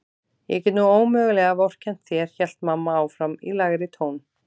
Ég get nú ómögulega vorkennt þér hélt mamma áfram í lægri tón.